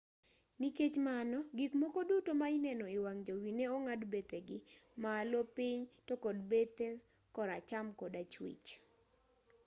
nikech mano gik moko duto ma ineno e wang' jowi ne ong'ad bethegi malo piny to kod bethe kor acham kod achwich